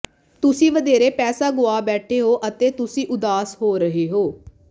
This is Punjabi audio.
ਤੁਸੀਂ ਵਧੇਰੇ ਪੈਸਾ ਗੁਆ ਬੈਠੇ ਹੋ ਅਤੇ ਤੁਸੀਂ ਉਦਾਸ ਹੋ ਰਹੇ ਹੋ